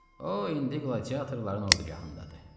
O indi qladiatorların ordugahındadır.